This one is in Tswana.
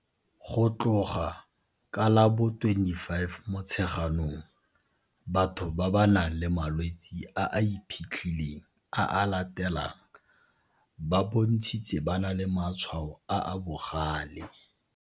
Go tloga ka la bo 25 Motsheganong, batho ba ba nang le malwetse a a iphitlhileng a a latelang ba bontshitse ba na le matshwao a a bogale.